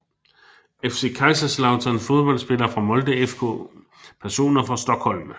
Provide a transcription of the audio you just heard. FC Kaiserslautern Fodboldspillere fra Molde FK Personer fra Stockholm